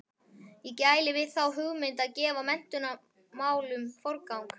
Ég gæli við þá hugmynd að gefa menntunarmálum forgang.